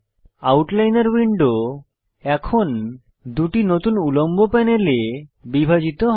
আউটলাইনর window এখন দুটি নতুন উল্লম্ব প্যানেলে বিভাজিত হয়